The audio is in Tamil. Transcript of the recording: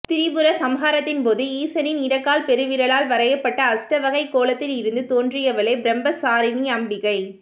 திரிபுர சம்ஹாரத்தின்போது ஈசனின் இடக்கால் பெருவிரலால் வரையப்பட்ட அஷ்டவகைக் கோலத்தில் இருந்து தோன்றியவளே பிரம்மசாரிணி அம்பிகை